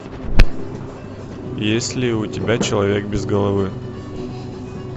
есть ли у тебя человек без головы